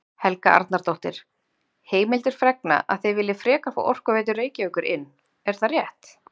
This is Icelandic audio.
Helga Arnardóttir: Heimildir fregna að þið viljið frekar fá Orkuveitu Reykjavíkur inn, er það rétt?